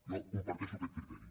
jo comparteixo aquest criteri